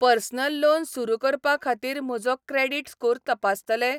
Personal loan सुरू करपा खातीर म्हजो क्रेडीट स्कोर तपासतले?